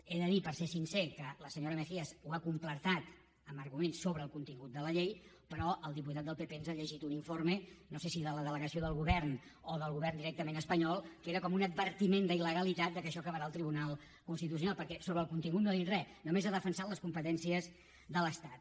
és a dir per ser sincer que la senyora mejías ho ha completat amb arguments sobre el contingut de la llei però el diputat del pp ens ha llegit un informe no sé si de la delegació del govern o del govern directament espanyol que era com un advertiment d’iltitucional perquè sobre el contingut no ha dit res només ha defensat les competències de l’estat